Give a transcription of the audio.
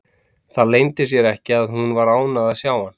Það leyndi sér ekki að hún var ánægð að sjá hann.